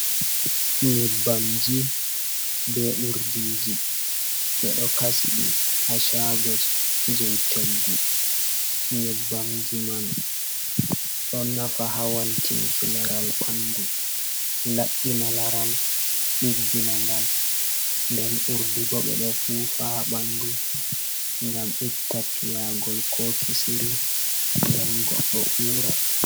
Nyebbamji be urdiji ɓe ɗo kasiɗi ha Shago jei choggu. Nyebbamji man ɗo nafa ha waltinki laral ɓandu. Labɓina Laral ɗiggina ngal. nden Urdibo ɓe ɗo fufa ɓandu ngam itta Piyagol ko Kisiri nden Godɗo ura.